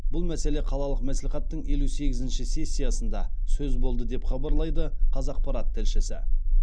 бұл мәселе қалалық мәслихаттың елу сегізінші сессиясында сөз болды деп хабарлайды қазақпарат тілшісі